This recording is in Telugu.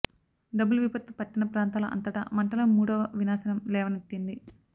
డబుల్ విపత్తు పట్టణ ప్రాంతాల అంతటా మంటలు మూడవ వినాశనం లేవనెత్తింది